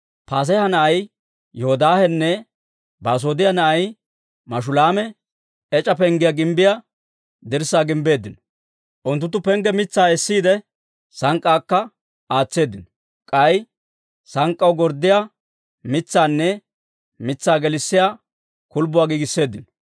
Paaseeha na'ay Yoodaahenne Basoodiyaa na'ay Mashulaami ec'a Penggiyaa gimbbiyaa dirssaa gimbbeeddino. Unttunttu pengge mitsaa essiide, sank'k'aakka aatseeddino; k'ay sank'k'aw gorddiyaa mitsaanne mitsaa gelissiyaa kulbbuwaa giigisseeddino.